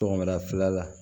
Tɔgɔmara filanan la